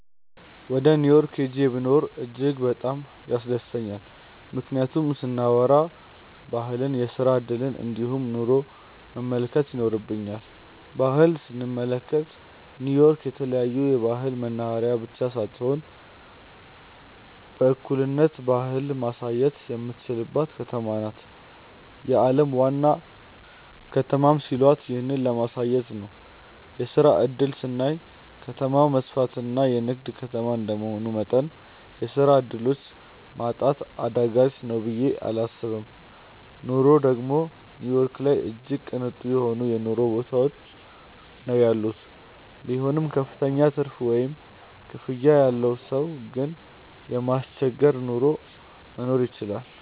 ወደ ኒው ዮርክ ሂጄ ብኖር እጅግ በጣም ያስደስተኛል። ምክንያቱን ስናዎራ ባህልን፣ የስራ እድልን እንዲሁም ኑሮን መመልከት ይኖርብኛል። ባህል ስንመለከት ኒው ዮርክ የተለያዮ ባህል መናህሬያ ብቻ ሳትሆን በእኩልነት ባህልን ማሳየትም የሚቻልባትም ከተማ ናት። የአለም ዋና ከተማም ሲሏት ይህንን ለማሳየት ነው። የስራ እድል ስናይ ከተማው መስፍትና የንግድ ከተማ እንደመሆኑ መጠን የስራ ዕድሎች ማጣት አዳጋች ነው ብየ እላስብም። ኑሮ ደግም ኒው ዮርክ ላይ እጅግ ቅንጡ የሆነ የኑሮ ሁኔታ ነው ያለው። ቢሆንም ክፍተኛ ትርፍ ወይም ክፍያ ያለው ሰው ግን የማያስቸግር ኑሮ መኖር ይችላል።